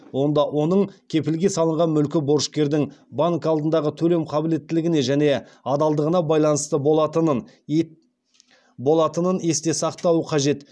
онда оның кепілге салынған мүлкі борышкердің банк алдындағы төлем қабілеттілігіне және адалдығына байланысты болатынын есте сақтауы қажет